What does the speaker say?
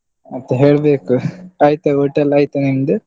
ಮತ್ತೆ ಹೇಳ್ಬೇಕು ಆಯ್ತಾ ಊಟ ಎಲ್ಲಾ ಆಯ್ತಾ ನಿಂದು?